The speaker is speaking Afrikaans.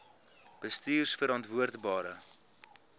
bestuurverantwoordbare